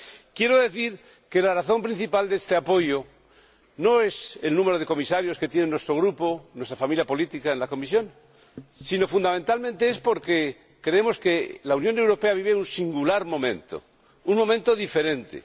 Quiero decir que la razón principal de este apoyo no es el número de Comisarios que tiene nuestro Grupo, nuestra familia política, en la Comisión, sino, fundamentalmente, la creencia de que la Unión Europea vive un singular momento, un momento diferente.